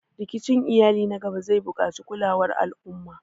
Rikicin iyali na gaba zai buƙaci kulawar al'umma